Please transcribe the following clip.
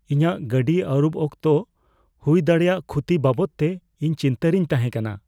ᱤᱧᱟᱜ ᱜᱟᱹᱰᱤ ᱟᱹᱨᱩᱵ ᱚᱠᱛᱚ ᱦᱩᱭ ᱫᱟᱲᱮᱭᱟᱜ ᱠᱷᱚᱛᱤ ᱵᱟᱵᱚᱫᱛᱮ ᱤᱧ ᱪᱤᱱᱛᱟᱹᱨᱮᱧ ᱛᱟᱦᱮᱸ ᱠᱟᱱᱟ ᱾